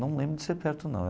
Não lembro de ser perto, não.